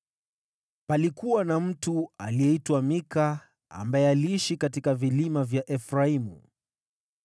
Palikuwa na mtu aliyeitwa Mika ambaye aliishi katika vilima vya Efraimu.